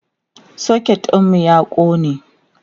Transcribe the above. socket ɗinmu ya ƙone